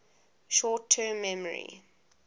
short term memory